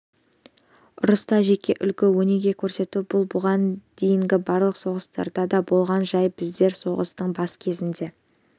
ұрыста жеке үлгі-өнеге көрсету бұл бұған дейінгі барлық соғыстарда да болған жай біздер соғыстың бас кезінде